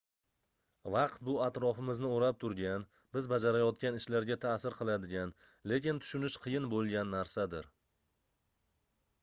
vaqt bu atrofimizni oʻrab turgan biz bajarayotgan ishlarga taʼsir qiladigan lekin tushunish qiyin boʻlgan narsadir